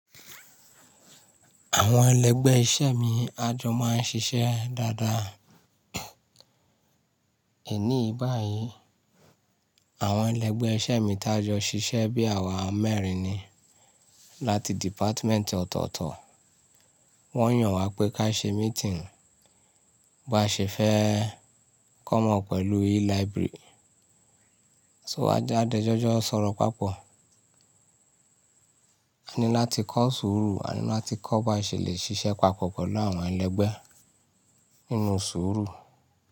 Àwọn ẹlẹgbẹ́ iṣẹ́ mi a jọ máa ń ṣiṣẹ́ dáadáa. Èní yi báyìí, àwọn ẹlẹgbẹ́ iṣẹ́ mi tá jọ ṣiṣẹ́ bí àwa mẹ́rin ni. Láti dìpátímẹ́ǹtì ọ̀tọ̀ọ̀tọ̀. Wọ́n yàn wa pé ká ṣe meeting, ba ṣe fẹ́ come up pẹ̀lú e-library. So a de jọjọ sọ̀rọ̀ papọ̀. A ní láti kọ́ sùúrù, a ní láti kọ́ ba ṣe lè ṣiṣẹ́ papọ̀ pẹ̀lú àwọn ẹlẹgbẹ́ nínú sùúrù.